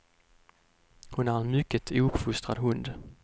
Hon är en mycket ouppfostrad hund.